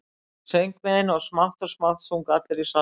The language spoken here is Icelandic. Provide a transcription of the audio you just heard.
Ég söng með henni og smátt og smátt sungu allir í salnum.